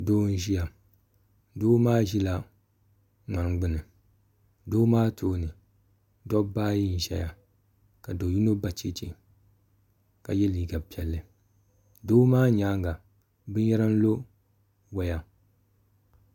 Doo n ʒiya doo maa ʒila ŋmani gbuni o tooni nirabaayi n ʒɛya ka do yino ba chɛchɛ ka yɛ liiga piɛlli doo maa nyaaŋa binyɛra lo waya